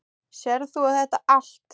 Sérð þú þetta allt?